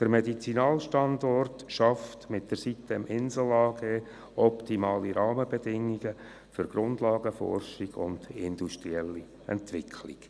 Der Medizinalstandort schafft mit der sitem-Insel AG optimale Rahmenbedingungen für Grundlagenforschung und industrielle Entwicklung.